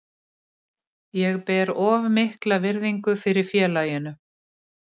Ég ber of mikla virðingu fyrir félaginu.